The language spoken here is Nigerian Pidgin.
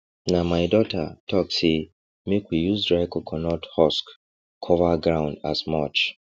na my daughter talk say make we use dry coconut husk cover ground as mulch